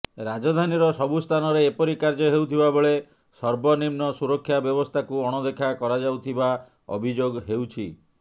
ରାଜଧାନୀର ସବୁ ସ୍ଥାନରେ ଏପରି କାର୍ଯ୍ୟ ହେଉଥିବାବେଳେ ସର୍ବନିମ୍ନ ସୁରକ୍ଷା ବ୍ୟବସ୍ଥାକୁ ଅଣଦେଖା କରାଯାଉଥିବା ଅଭିଯୋଗ ହେଉଛି